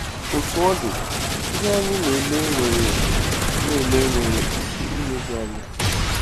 Otú ọ dị, ihe anyị na-ele nwere na-ele nwere ike imebi anyị.